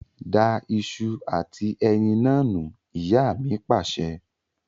Da ìṣù àti ẹyin naa nù! Ìyá mi Pàṣẹ.